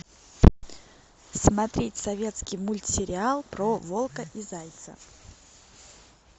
смотреть советский мультсериал про волка и зайца